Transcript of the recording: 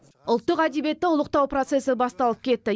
ұлттық әдебиетті ұлықтау процесі басталып кетті